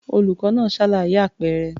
Olùkọ́ náà ṣàlàyé àpẹẹrẹ.